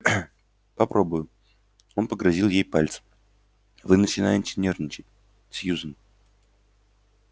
попробую он погрозил ей пальцем вы начинаете нервничать сьюзен